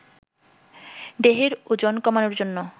দেহের ওজন কমানোর জন্য